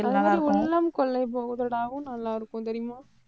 அதே மாதிரி உள்ளம் கொள்ளை போகுதடாவும் நல்லா இருக்கும், தெரியுமா?